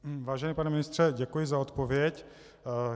Vážený pane ministře, děkuji za odpověď.